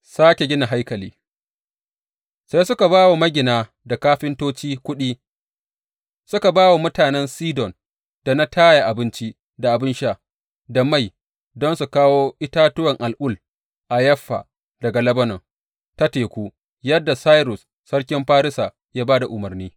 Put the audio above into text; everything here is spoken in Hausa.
Sāke gina haikali Sai suka ba wa magina da kafintoci kuɗi, suka ba wa mutanen Sidon da na Taya abinci, da abin sha, da mai, don su kawo itatuwan al’ul a Yaffa daga Lebanon ta teku, yadda Sairus sarkin Farisa ya ba da umarni.